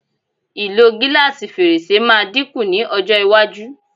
Ìlò gílásì fèrèsé máa dín kù ní ọjọ́ iwájú.